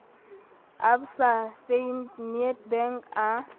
a absa fnb nedbank a